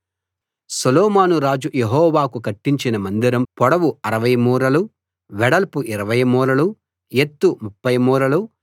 సొలొమోను రాజు యెహోవాకు కట్టించిన మందిరం పొడవు 60 మూరలు వెడల్పు 20 మూరలు ఎత్తు 30 మూరలు